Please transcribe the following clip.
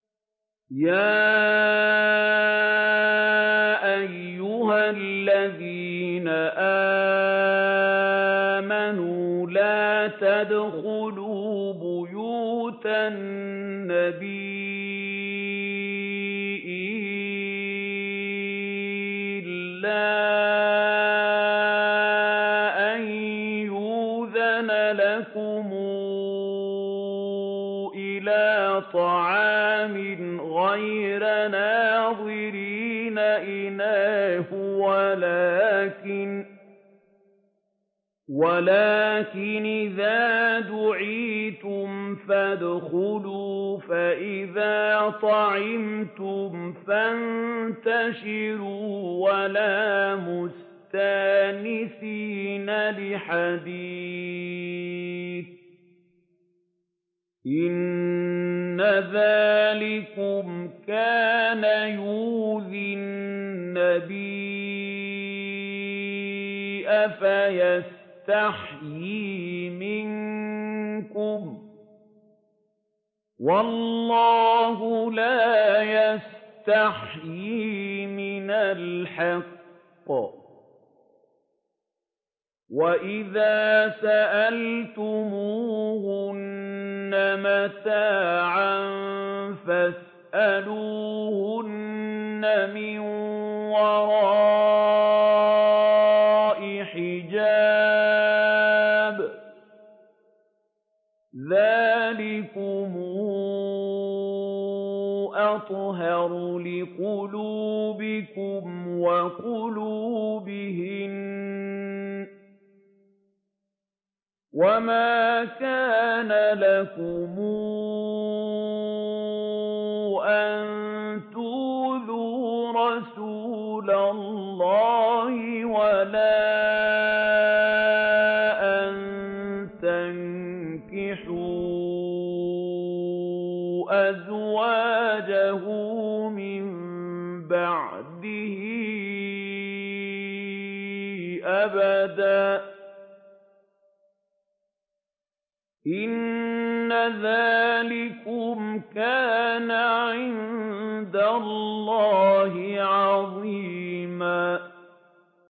يَا أَيُّهَا الَّذِينَ آمَنُوا لَا تَدْخُلُوا بُيُوتَ النَّبِيِّ إِلَّا أَن يُؤْذَنَ لَكُمْ إِلَىٰ طَعَامٍ غَيْرَ نَاظِرِينَ إِنَاهُ وَلَٰكِنْ إِذَا دُعِيتُمْ فَادْخُلُوا فَإِذَا طَعِمْتُمْ فَانتَشِرُوا وَلَا مُسْتَأْنِسِينَ لِحَدِيثٍ ۚ إِنَّ ذَٰلِكُمْ كَانَ يُؤْذِي النَّبِيَّ فَيَسْتَحْيِي مِنكُمْ ۖ وَاللَّهُ لَا يَسْتَحْيِي مِنَ الْحَقِّ ۚ وَإِذَا سَأَلْتُمُوهُنَّ مَتَاعًا فَاسْأَلُوهُنَّ مِن وَرَاءِ حِجَابٍ ۚ ذَٰلِكُمْ أَطْهَرُ لِقُلُوبِكُمْ وَقُلُوبِهِنَّ ۚ وَمَا كَانَ لَكُمْ أَن تُؤْذُوا رَسُولَ اللَّهِ وَلَا أَن تَنكِحُوا أَزْوَاجَهُ مِن بَعْدِهِ أَبَدًا ۚ إِنَّ ذَٰلِكُمْ كَانَ عِندَ اللَّهِ عَظِيمًا